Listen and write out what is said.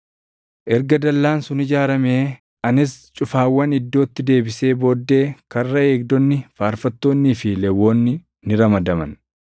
Erga dallaan sun ijaaramee anis cufaawwan iddootti deebisee booddee karra eegdonni, faarfattoonnii fi Lewwonni ni ramadaman.